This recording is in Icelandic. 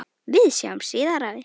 Við sjáumst síðar, afi.